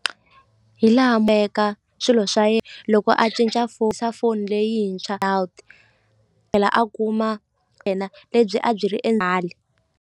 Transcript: Hi laha swilo swa ye loko a cinca foni leyintshwa tlhela a kuma lebyi a byi ri .